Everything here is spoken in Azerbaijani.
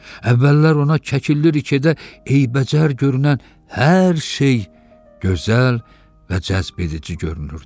Əvvəllər ona Kəkillirikidə eybəcər görünən hər şey gözəl və cəzbəedici görünürdü.